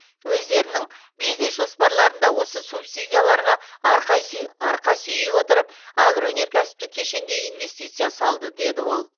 өздерінің бизнес жоспарларында осы субсидияларға арқа сүйей отырып агроөнеркәсіптік кешенге инвестиция салды деді ол